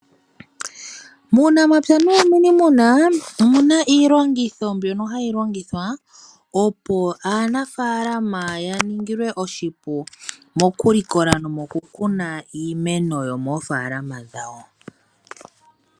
Muunamapya nuuniimuna omuna iilongitho mbyono hayi longithwa opo aanafaalama yaningilwe oshipu mokulikola nomokukuna iimeno yomoofaalama dhawo.